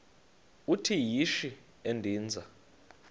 uthi yishi endiza